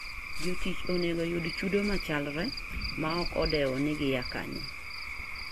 Jotich onego oyud chudo machalre ma ok odewo ni gia kanye.